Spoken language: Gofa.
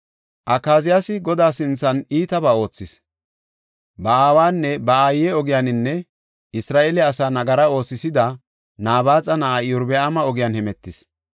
Akaziyaasi Godaa sinthan iitabaa oothis; ba aawanne ba aaye ogiyaninne Isra7eele asa nagara oosisida, Nabaaxa na7aa Iyorbaama ogiyan hemetis.